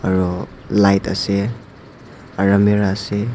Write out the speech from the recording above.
aro light ase aro almirah ase.